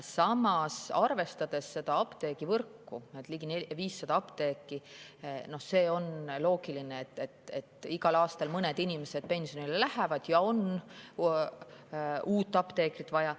Samas, arvestades apteegivõrgu suurust – ligi 500 apteeki –, on loogiline, et igal aastal mõned inimesed pensionile lähevad ja on uut apteekrit vaja.